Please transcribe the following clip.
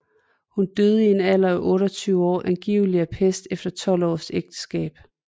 Hun døde i en alder af 28 år angiveligt af pest efter 12 års ægteskab